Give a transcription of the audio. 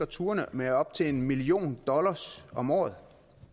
turene med op til en million dollars om året